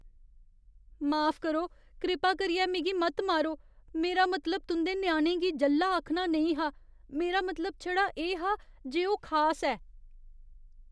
माफ करो, कृपा करियै मिगी मत मारो। मेरा मतलब तुं'दे ञ्याणे गी ज'ल्ला आखना नेईं हा। मेरा मतलब छड़ा एह् हा जे ओह् खास ऐ।